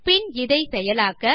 பின் இதை செயலாக்க